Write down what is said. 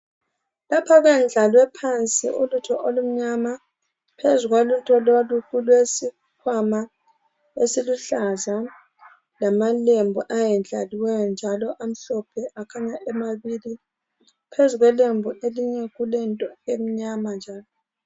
Lapha kwendlale phansi ulutho olumnyama phezu kwalutho lolu kulesikhwama esiluhlaza lamalembu ayendlaliweyo njalo amhlophe akhanya emabili phezu kwelembu kulelinye into emnyama njalo.